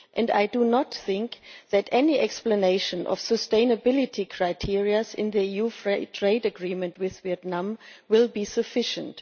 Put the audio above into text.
I do not think that any explanation of sustainability criteria in the EU Free Trade Agreement with Vietnam will be sufficient.